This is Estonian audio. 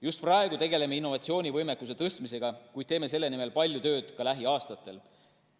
Just praegu tegeleme innovatsioonivõimekuse tõstmisega, kuid teeme selle nimel palju tööd ka lähiaastatel.